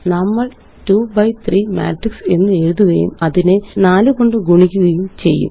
നമ്മള്2 B 3 matrix എന്ന് എഴുതുകയും അതിനെ 4 കൊണ്ട് ഗുണിക്കുകയും ചെയ്യും